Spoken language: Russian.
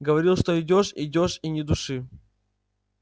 говорил что идёшь идёшь и ни души